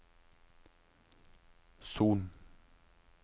Son